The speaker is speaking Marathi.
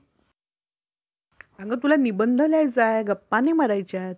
अगं तुला निबंध लिहायचा आहे गप्पा नाही मारायच्या.